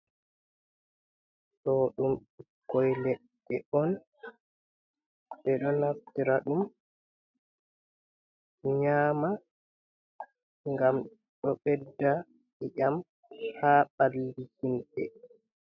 Do ɗum ɓukkoi ledde on, be do naftira ɗum nyama gam do bedda iƴam ha ballihimbe.